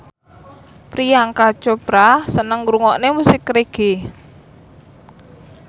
Priyanka Chopra seneng ngrungokne musik reggae